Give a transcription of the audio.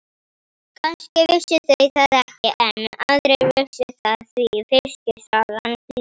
Kannski vissu þau það ekki enn en aðrir vissu það því fiskisagan flýgur.